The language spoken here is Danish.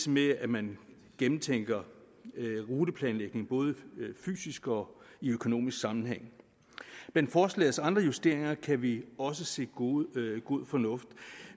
med at man gennemtænker ruteplanlægning både fysisk og i økonomisk sammenhæng forslagets andre justeringer kan vi også se god fornuft i